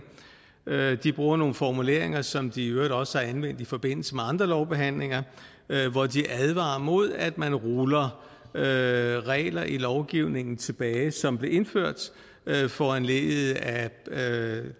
de bruger nogle formuleringer som de i øvrigt også har anvendt i forbindelse med andre lovbehandlinger hvor de advarer mod at man ruller regler i lovgivningen tilbage som blev indført foranlediget af